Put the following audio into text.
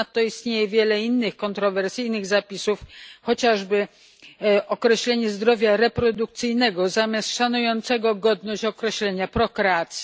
Ponadto istnieje wiele innych kontrowersyjnych zapisów, chociażby określenie zdrowia reprodukcyjnego zamiast szanującego godność określenia prokreacji.